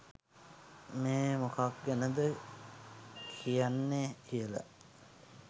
මේ මොකක් ගැනද කියන්නේ කියලා